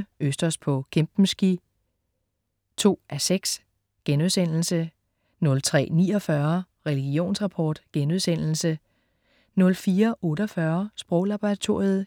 02.27 Østers på Kempenski 2:6* 03.49 Religionsrapport* 04.48 Sproglaboratoriet*